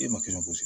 E ma kɛ gosi